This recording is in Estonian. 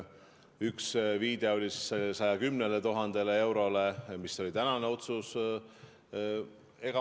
Üks viide oli 110 000 eurole, mis oli tänane otsus.